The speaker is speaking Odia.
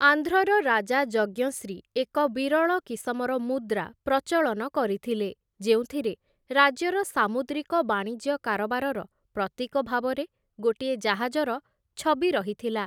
ଆନ୍ଧ୍ରର ରାଜା ଯଜ୍ଞଶ୍ରୀ ଏକ ବିରଳ କିସମର ମୁଦ୍ରା ପ୍ରଚଳନ କରିଥିଲେ, ଯେଉଁଥିରେ ରାଜ୍ୟର ସାମୁଦ୍ରିକ ବାଣିଜ୍ୟ କାରବାରର ପ୍ରତୀକ ଭାବରେ ଗୋଟିଏ ଜାହାଜର ଛବି ରହିଥିଲା ।